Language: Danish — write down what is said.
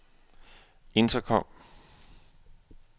intercom